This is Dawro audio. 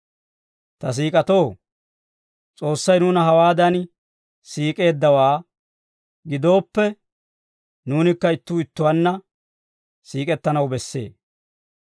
Ta siik'otoo, S'oossay nuuna hawaadan siik'eeddawaa gidooppe, nuunikka ittuu ittuwaanna siik'ettanaw bessee.